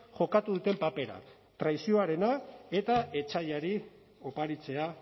jokatu duten papera traizioarena eta etsaiari oparitzea